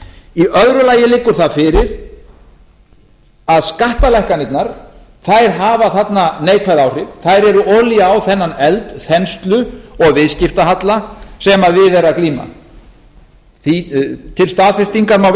í öðru lagi liggur það fyrir að skattalækkanirnar hafa þarna neikvæð áhrif þær eru olía á þennan eld þenslu og viðskiptahalla sem við er að glíma til staðfestingar má